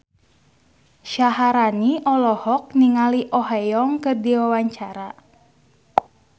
Syaharani olohok ningali Oh Ha Young keur diwawancara